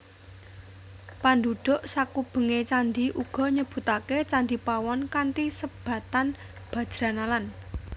Pandhudhuk sakubenge candhi uga nyebutake Candhi Pawon kanthi sebatan Bajranalan